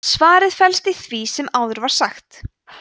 svarið felst í því sem áður var sagt